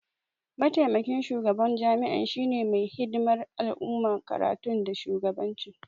Maitamakin shugaban jami'a shine mai hidimar al'amuran karatu da shugabanci